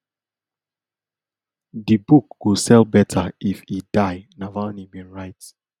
di book go sell better if e die navalny bin write